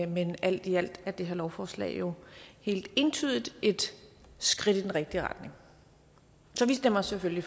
men alt i alt er det her lovforslag jo helt entydigt et skridt i den rigtige retning så vi stemmer selvfølgelig